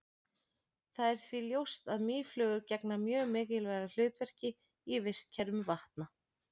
það er því ljóst að mýflugur gegna mjög mikilvægu hlutverki í vistkerfum vatna